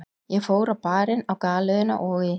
Ég fór á Barinn, á Galeiðuna og í